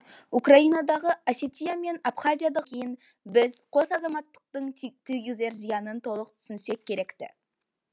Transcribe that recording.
украинадағы осетия мен абхазиядағы оқиғалардан кейін біз қос азаматтықтың тигізер зиянын толық түсінсек керек ті